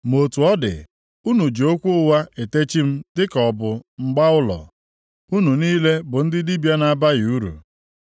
Ma otu ọ dị, unu ji okwu ụgha etechi m dịka ọ bụ mgba ụlọ; unu niile bụ ndị dibịa na-abaghị uru.